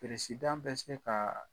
bɛ se kaa